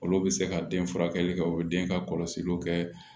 Olu bɛ se ka den furakɛli kɛ u bɛ den ka kɔlɔsiliw kɛ